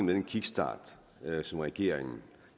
den kickstart som regeringen